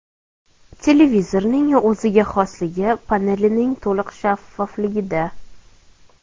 Televizorning o‘ziga xosligi panelining to‘liq shaffofligida.